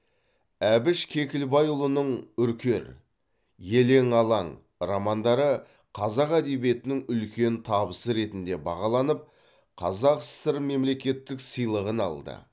әбіш кекілбайұлының үркер елең алаң романдары қазақ әдебиетінің үлкен табысы ретінде бағаланып қазақ сср мемлекеттік сыйлығын алды